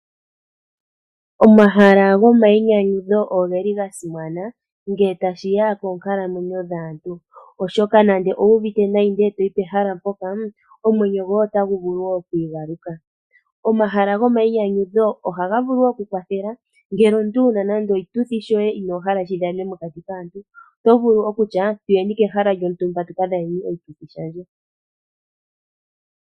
Omahala gomainyanyudho ogeli gasimana ngele tashi ya koonkalamwenyo dhaantu oshoka nande owuudhite nayi e to yi pehala mpoka omwenyo goye otagu vulu woo okwiigaluka. Omahala gomainyanyudho ohaga vulu woo oku kwathela ngele omuntu wuna nande oshituthi shoye inoohala shi dhanene mokati kaantu oto vulu okutya tuyeni pehala lyontumba tu kadhaneni oshituthi shandje.